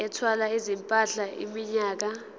ethwala izimpahla iminyaka